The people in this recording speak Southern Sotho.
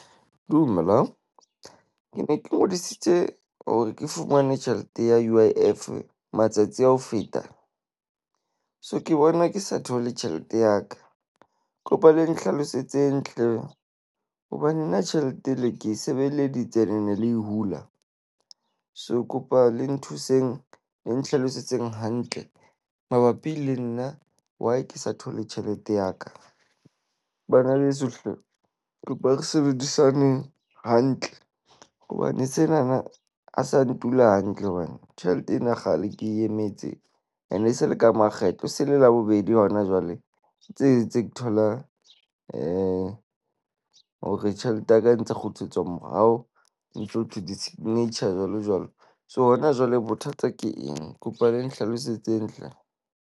Dumela, ke ne ke ngodisitse hore ke fumane tjhelete ya U_I_F matsatsi a ho feta. So, ke bona ke sa thole tjhelete ya ka. Ke kopa le nhlalosetseng hleng hobane nna tjhelete e le ke e sebeleditse ne le e hula. So, kopa le nthuseng le nhlalosetseng hantle mabapi le nna, why ke sa thole tjhelete ya ka. Bana beso hle kopa re sebedisane hantle hobane sena na a sa ntula hantle. Hobane tjhelete ena kgale ke emetse ene e se le ka makgetlo se le Labobedi hona jwale. Tse tse ke thola hore tjhelete yaka e ntse kgutlisetswa morao ho ntso thwe di-signature jwalo, jwalo. So, hona jwale bothata ke eng? Kopa le nhlalosetseng hle.